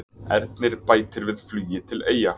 Ernir bætir við flugi til Eyja